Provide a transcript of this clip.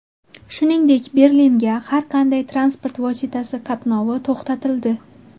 Shuningdek, Berlinga har qanday transport vositasi qatnovi to‘xtatildi.